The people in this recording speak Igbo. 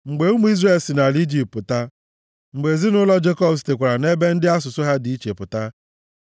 Mgbe ụmụ Izrel si nʼala Ijipt pụta, mgbe ezinaụlọ Jekọb sitekwara nʼebe ndị asụsụ ha dị iche pụta,